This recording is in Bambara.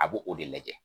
A b'o o de lajɛ